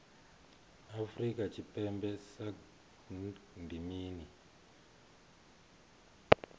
afrika tshipembe sagnc ndi mini